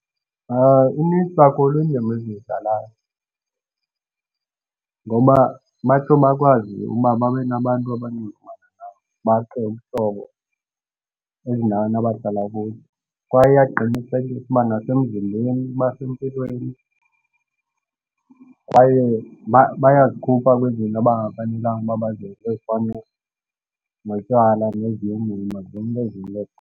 Inintsi kakhulu indima eziyidlalayo ngoba batsho bakwazi ukuba babe nabantu abaninzi bakhe ubuhlobo ezindaweni abadlala kuzo. Kwaye uyaqinisekisa ukuba nasemzimbeni uba sempilweni kwaye bayazikhupha kwizinto abafanelanga uba bazenze ezifana notywala